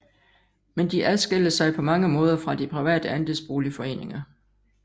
Men de adskiller sig på mange måder fra de private andelsboligforeninger